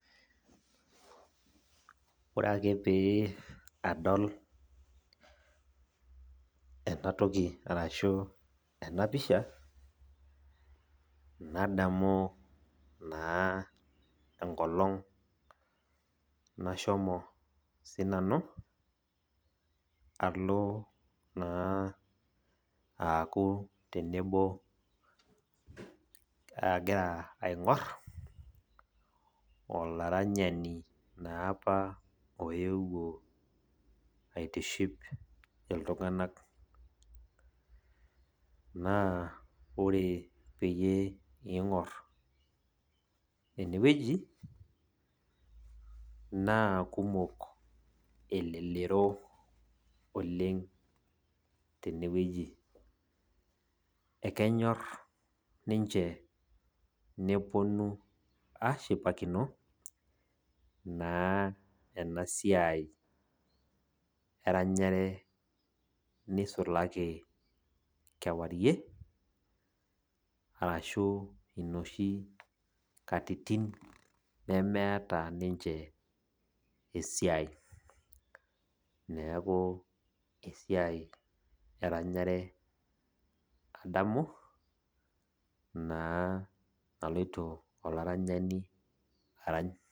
Ore ake pee adol enatoki arashu enapisha, nadamu naa enkolong nashomo sinanu, alo naa aaku tenebo agira aing'or, olaranyani naapa oewuo aitiship iltung'anak. Naa ore peyie ing'or enewueji, naa kumok elelero oleng tenewueji. Ekenyor ninche neponu ashipakino, naa enasiai eranyare nisulaki kewarie, arashu inoshi katitin nemeeta ninche esiai. Neeku esiai eranyare adamu, naa naloito olaranyani arany.